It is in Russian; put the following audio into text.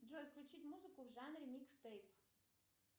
джой включить музыку в жанре микстейп